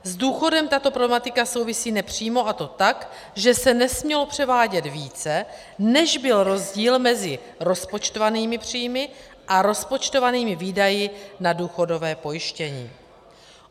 S důchodem tato problematika souvisí nepřímo, a to tak, že se nesmělo převádět více, než byl rozdíl mezi rozpočtovanými příjmy a rozpočtovanými výdaji na důchodové pojištění.